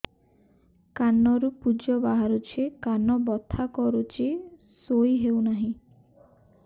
କାନ ରୁ ପୂଜ ବାହାରୁଛି କାନ ବଥା କରୁଛି ଶୋଇ ହେଉନାହିଁ